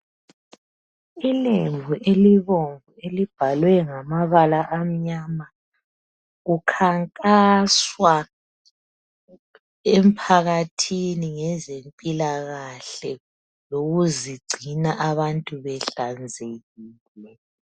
ilembu elibomvu elibhalwe ngamabala amnyama kukhankanswa emuphakathini ngezempilakahle lokuzigcina abantu behlanzekile